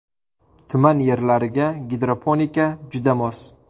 Tuman yerlariga gidroponika juda mos.